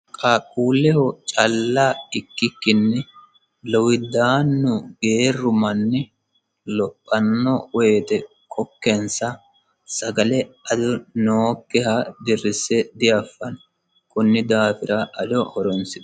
qaaqulleho calka ikkikkini lowiddaannu geeru manni lophanno woyite kokkensa sagale ado nookkiha dirrisse diaffanno konni daafira ado horonsira